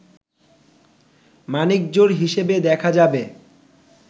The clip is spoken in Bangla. মানিকজোড় হিসেবে দেখা যাবে